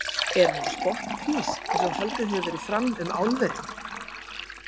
Er hún á spottprís eins og haldið hefur verið fram um álverin?